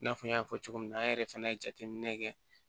I n'a fɔ n y'a fɔ cogo min na an yɛrɛ fɛnɛ ye jateminɛ kɛ